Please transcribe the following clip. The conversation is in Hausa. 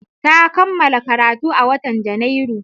Ta kammala karatu a watan Janairu.